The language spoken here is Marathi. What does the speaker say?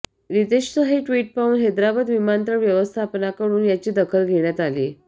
रितेशचं हे ट्विट पाहून हैदराबाद विमानतळ व्यवस्थापनाकडून याची दखल घेण्यात आली